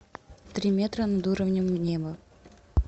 три метра над уровнем неба